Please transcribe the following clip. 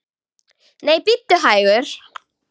Nei, bíddu hægur!